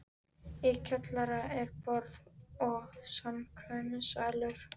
Í kjallara er: borð- og samkvæmissalur